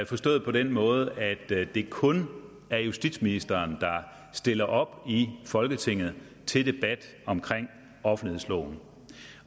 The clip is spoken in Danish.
forstået på den måde at det kun er justitsministeren der stiller op i folketinget til debat om offentlighedsloven